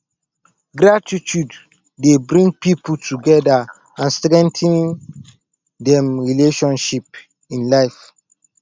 gratitude dey bring people together and strengthen dem relationship in life